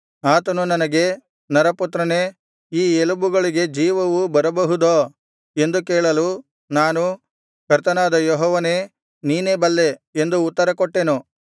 ಆತನು ನನಗೆ ನರಪುತ್ರನೆ ಈ ಎಲುಬುಗಳಿಗೆ ಜೀವವು ಬರಬಹುದೋ ಎಂದು ಕೇಳಲು ನಾನು ಕರ್ತನಾದ ಯೆಹೋವನೇ ನೀನೇ ಬಲ್ಲೆ ಎಂದು ಉತ್ತರಕೊಟ್ಟೆನು